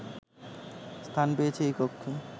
স্থান পেয়েছে এই কক্ষে